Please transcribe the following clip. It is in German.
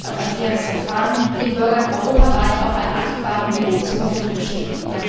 das Recht auf ein faires Verfahren den Bürgern europaweit auf einem adäquaten Niveau zur Verfügung stehen.